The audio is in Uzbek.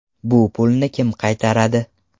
Bu pulni kim qaytaradi?